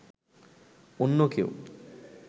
অন্য কেউ